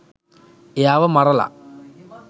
එයාව මරලා